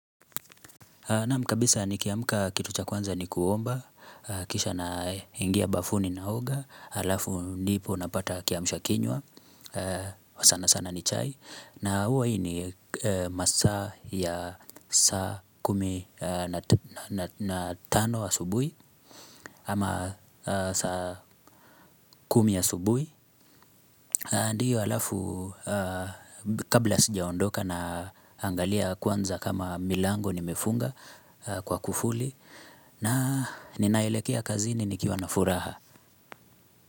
Nam kabisa nikiamuka kitu cha kwanza ni kuomba, kisha na ingia bafuni na hoga, alafu ndipo napata kiamusha kinywa, sana sana ni chai. Na huwa hii ni masaa ya saa kumi na tano asubuhi, ama saa kumi asubuhi. Ndiyo alafu kabla sijaondoka na angalia kwanza kama milango nimefunga kwa kufuli na ninaelekea kazini nikiwa na furaha.